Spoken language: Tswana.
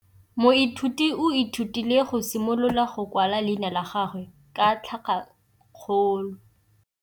Moithuti o ithutile go simolola go kwala leina la gagwe ka tlhakakgolo.